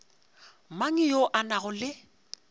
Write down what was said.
mang yo a nago le